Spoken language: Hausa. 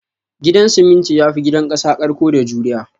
Gidan siminti yafi gidan kasa karko da juriya